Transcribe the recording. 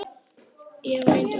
Eva Lind og Elsa.